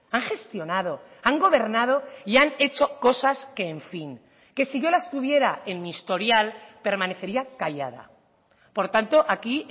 han gestionado han gobernado y han hecho cosas que en fin que si yo las tuviera en mi historial permanecería callada por tanto aquí